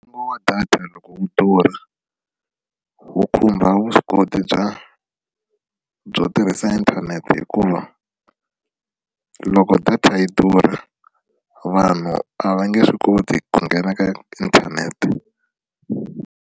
Ntsengo wa data loko wu durha wu khumba vuswikoti bya byo tirhisa inthanete hikuva loko data yi durha vanhu a va nge swi koti ku nghena ka inthanete.